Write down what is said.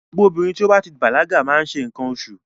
Gbogbo obìnrin tó bá ti bàlágà má ń ṣe nǹkan oṣù.